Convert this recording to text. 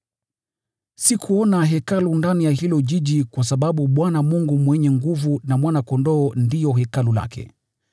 Sikuona Hekalu ndani ya huo mji kwa sababu Bwana Mungu Mwenyezi na Mwana-Kondoo ndio hekalu lake.